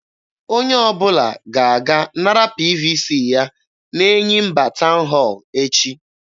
Onye ọbụla ga-aga nara PVC ya n'Enyimba town hall echi.